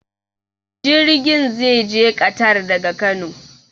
Jirgin zai je ƙatar daga Kano.